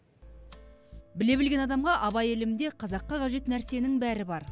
біле білген адамға абай ілімінде қазаққа қажет нәрсенің бәрі бар